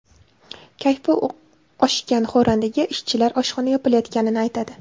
Kayfi oshgan xo‘randaga ishchilar oshxona yopilayotganini aytadi.